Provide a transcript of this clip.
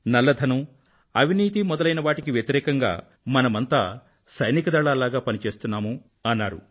నల్లధనం అవినీతి మొదలైనవాటికి వ్యతిరేకంగా మనమంతా సైనిక దళాల్లాగ పని చేస్తున్నాము అన్నారు